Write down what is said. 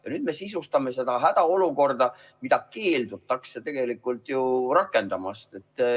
Ja nüüd me sisustame seda hädaolukorda, mida keeldutakse tegelikult rakendamast.